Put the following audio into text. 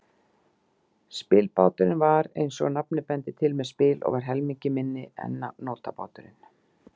Spilbáturinn var, eins og nafnið bendir til, með spil og var helmingi minni en nótabáturinn.